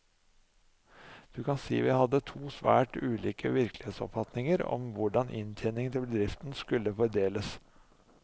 Du kan si vi hadde to svært ulike virkelighetsoppfatninger om, hvordan inntjeningen til bedriften skulle fordeles.